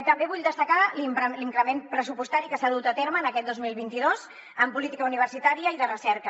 també vull destacar l’increment pressupostari que s’ha dut a terme en aquest dos mil vint dos en política universitària i de recerca